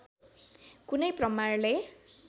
कुनै प्रमाणले